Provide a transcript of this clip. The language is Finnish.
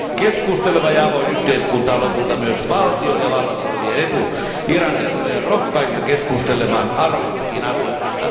Keskusteleva ja avoin yhteiskunta on lopulta myös valtion ja vallassa olevien etu. Irania tulee rohkaista keskustelemaan aroistakin asioista.